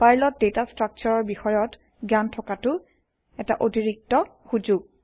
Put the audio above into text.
পাৰ্লৰ data structure বিষয়ত জ্ঞান থকাতো এটা অতিৰিক্ত সুযোগ